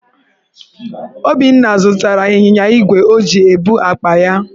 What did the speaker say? Obinna zụtara ịnyịnya igwe o ji ebu akpa ya.